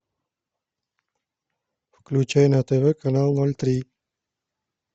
включай на тв канал ноль три